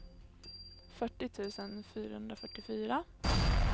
fyrtio tusen fyrahundrafyrtiofyra